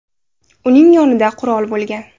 Uning yonida qurol bo‘lgan.